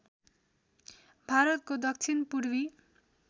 भारतको दक्षिण पूर्वी